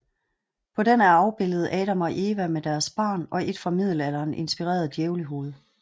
På den er afbilledet Adam og Eva med deres barn og et fra middelalderen inspireret djævlehoved